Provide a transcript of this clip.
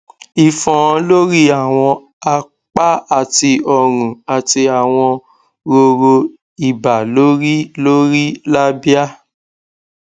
ifon lori awọn apa ati ọrun ati awọn roro iba lori lori labia